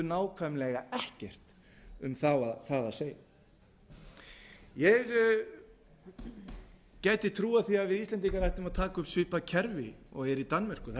nákvæmlega ekkert um það að segja ég gæti trúað því að við íslendingar ættum að taka upp svipað kerfi og er í danmörku þar